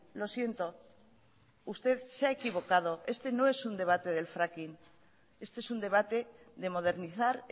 lo siento usted se ha equivocado este no es un debate del fracking este es un debate de modernizar